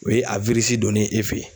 O ye a donnen ye e fɛ ye.